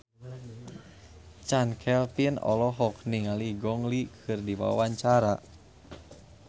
Chand Kelvin olohok ningali Gong Li keur diwawancara